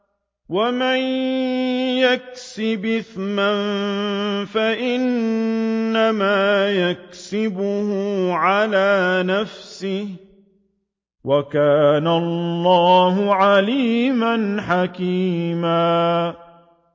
وَمَن يَكْسِبْ إِثْمًا فَإِنَّمَا يَكْسِبُهُ عَلَىٰ نَفْسِهِ ۚ وَكَانَ اللَّهُ عَلِيمًا حَكِيمًا